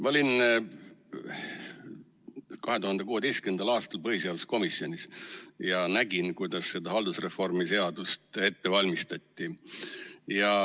Ma olin 2016. aastal põhiseaduskomisjonis ja nägin, kuidas seda haldusreformi seadust ette valmistati.